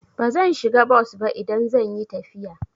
Bazan shiga bos ba idan zan yi tafiya.